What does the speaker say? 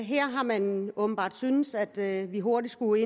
her har man åbenbart syntes at vi hurtigt skulle